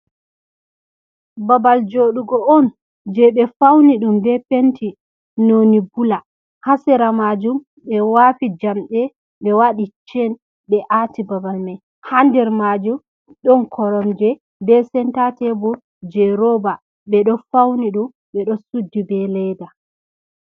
Babal jooɗugo on, jey ɓe fawni ɗum be penti nooni bula, haa sera maajum, ɓe waɗi jamɗe, ɓe waɗi cen, ɓe aati babal may. Haa nder maajum ɗon koromje, be senta tebur jey rooba, ɓe ɗo fawni ɗum, ɓe ɗo suddi be leeda.